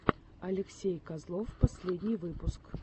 алексей козлов последний выпуск